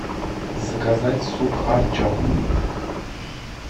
заказать суп харчо